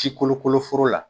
Si kolokolo foro la.